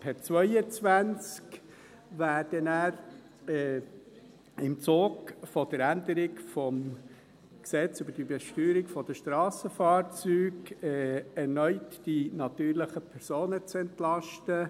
Per 2022 werden dann im Zug der Änderung des Gesetzes über die Besteuerung der Strassenfahrzeuge (BSFG) erneut die natürlichen Personen entlastet.